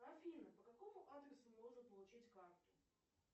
афина по какому адресу можно получить карту